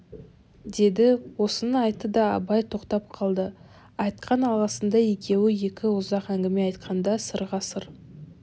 деді осыны айтты да абай тоқтап қалды айтқан алғысындай екеуі екі ұзақ әңгіме айтқанда сырға сыр